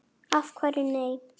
Af hverju nei?